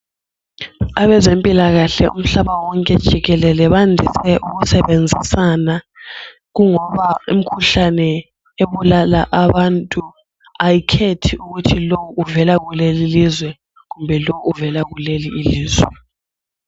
Abezempilakahle umhlaba wonke jikelele bandise ukusebenzisana kungoba imikhuhlane ebulala abantu ayikhethi ukuthi lo uvela kuleli ilizwe kumbe lo uvela kuleli ilizwe.